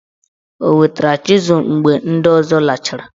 O wetara chịzul mgbe ndị ọzọ lachara?